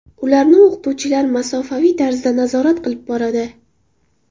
Ularni o‘qituvchilar masofaviy tarzda nazorat qilib boradi.